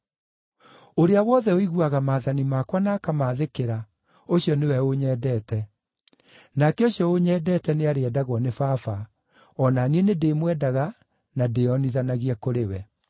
Ũrĩa wothe ũiguaga maathani makwa na akamaathĩkĩra, ũcio nĩwe ũnyendete. Nake ũcio ũnyendete nĩarĩendagwo nĩ Baba, o na niĩ nĩndĩmwendaga na ndĩĩonithanagie kũrĩ we.”